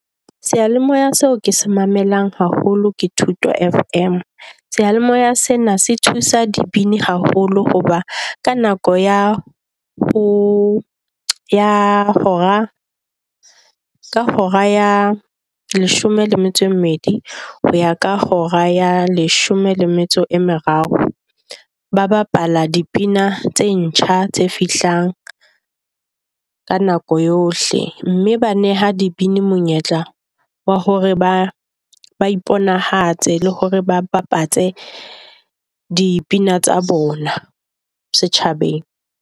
Seyalemoya seo ke sa mamelang haholo ke Thuto FM sealemoea sena se thusa dibini haholo. Hoba ka nako ya ho hora ka hora ya leshome le metso e mmedi, ho ya ka hora ya leshome le metso e meraro. Ba bapalla di pina tse ntjha tse fihlang ka nako yohle mme ba neha di bini monyetla wa hore ba ba iponahatse le hore ba bapatse di pina tsa bona setjhabeng.